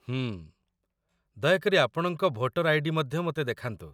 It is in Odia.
ହୁଁ..। ଦୟାକରି ଆପଣଙ୍କ ଭୋଟର ଆଇ.ଡି. ମଧ୍ୟ ମୋତେ ଦେଖାନ୍ତୁ